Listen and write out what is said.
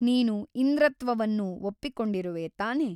ನೀನು ಇಂದ್ರತ್ವವನ್ನು ಒಪ್ಪಿಕೊಂಡಿರುವೆ ತಾನೆ ?